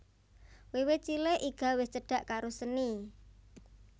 Wiwit cilik Iga wis cedak karo seni